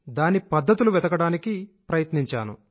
దాని పద్ధతులు వెతకడానికి ప్రయత్నించాను